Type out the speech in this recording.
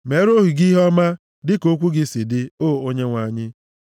Meere ohu gị ihe ọma dịka okwu gị si dị, o Onyenwe anyị.